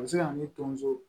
A bɛ se ka na ni tonso